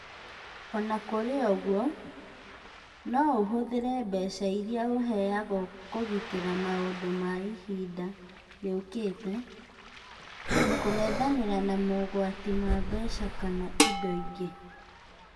O na kũrĩ ũguo, no ũhũthĩre mbeca iria ũheagwo kũgitĩra maũndũ ma ihinda rĩũkĩte, kũng'ethanĩra na mogwati ma mbeca kana indo ingĩ.